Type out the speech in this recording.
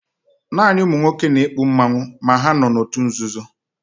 Naani ụmụnwọke na-ekpụ mmanwụ, ma ha nọ n'ọtụ nzụzọ.